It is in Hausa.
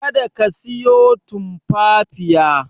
Kada ka siyo Tumfafiya.